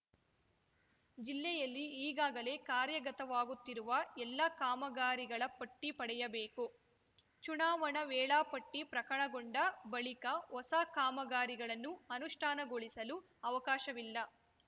ಜಿಲ್ಲೆಯಲ್ಲಿ ಈಗಾಗಲೇ ಕಾರ್ಯಗತವಾಗುತ್ತಿರುವ ಎಲ್ಲ ಕಾಮಗಾರಿಗಳ ಪಟ್ಟಿಪಡೆಯಬೇಕು ಚುನಾವಣಾ ವೇಳಾಪಟ್ಟಿಪ್ರಕಟಗೊಂಡ ಬಳಿಕ ಹೊಸ ಕಾಮಗಾರಿಗಳನ್ನು ಅನುಷ್ಠಾನಗೊಳಿಸಲು ಅವಕಾಶವಿಲ್ಲ